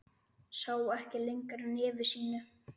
Sá ekki lengra nefi sínu.